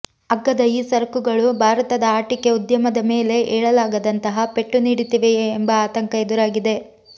ಅಗ್ಗದ ಈ ಸರಕುಗಳು ಭಾರತದ ಆಟಿಕೆ ಉದ್ಯಮ ಮೇಲೆ ಏಳಲಾಗ ದಂತಹ ಪೆಟ್ಟು ನೀಡುತ್ತಿವೆಯೇ ಎಂಬ ಆತಂಕ ಎದುರಾಗಿದೆ